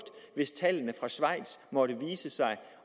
hvis tallene fra schweiz måtte vise sig